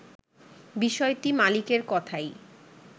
বিষয়টি মালিকের কথাই